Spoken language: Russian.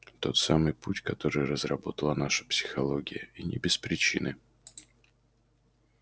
тот самый путь который разработала наша психология и не без причины